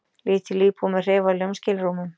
Lítil íbúð með hreyfanlegum skilrúmum.